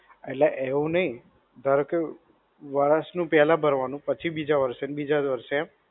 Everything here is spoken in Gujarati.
એટલે એક નહિ, ધારો કે, વર્ષ નું પેલા ભરવાનું પછી બીજા વર્ષે અને બીજા વર્ષે એમ